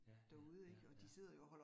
Ja ja ja ja